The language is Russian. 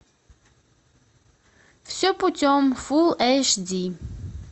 все путем фул эйч ди